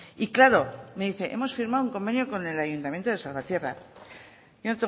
y claro me dice hemos firmado un convenio con el ayuntamiento de salvatierra yo no